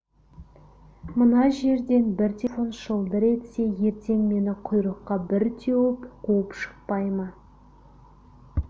мына жерден бір телефон шылдыр етсе ертең мені құйрыққа бір теуіп қуып шықпай ма